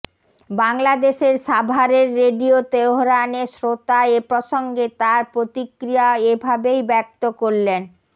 বাংলাদেশের সাভারের রেডিও তেহরানে শ্রোতা এ প্রসঙ্গে তার প্রতিক্রিয়া এ ভাবেই ব্যক্ত করলেন